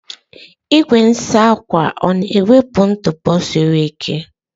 Igwe asa ahụ ọ na-ewepụ ntụpọ isi ike?